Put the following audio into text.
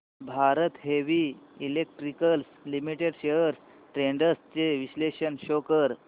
Bharat heavy electricals limited shares trends चे विश्लेषण show कर